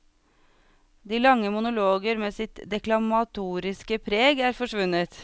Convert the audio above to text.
De lange monologer med sitt deklamatoriske preg er forsvunnet.